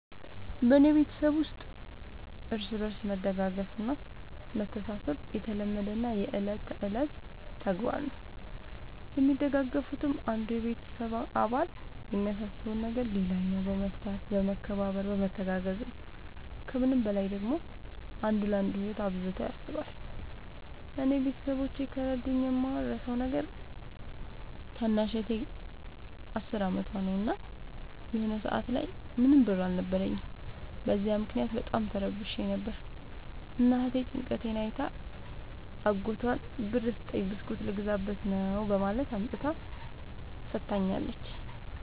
በኔ ቤተሠብ ውስጥ እርስ በርስ መደጋገፍ እና መተሣሠብ የተለመደና የእለት ከእለት ተግባር ነው። የሚደጋገፉትም አንዱ የቤተሰብ አባል የሚያሳስበውን ነገር ሌላኛው በመፍታት በመከባበር በመተጋገዝ ነው። ከምንም በላይ ደግሞ አንዱ ለአንዱ ህይወት አብዝቶ ያስባል። እኔ ቤተሠቦቼ ከረዱኝ የማረሣው ነገር ታናሽ እህቴ አስር አመቷ ነው። እና የሆነ ሰአት ላይ ምንም ብር አልነበረኝም። በዚያ ምክንያት በጣም ተረብሼ ነበር። እና እህቴ ጭንቀቴን አይታ አጎቷን ብር ስጠኝ ብስኩት ልገዛበት ነው በማለት አምጥታ ሠጥታኛለች።